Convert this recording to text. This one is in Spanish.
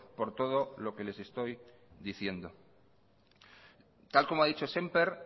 por todo lo que les estoy diciendo tal como ha dicho semper